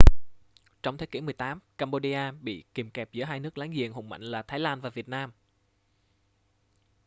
trong thế kỷ 18 cambodia bị kìm kẹp giữa hai nước láng giềng hùng mạnh là thái lan và việt nam